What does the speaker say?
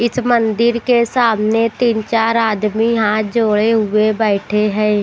इस मंदिर के सामने तीन-चार आदमी हाथ जोड़े हुए बैठे हैं।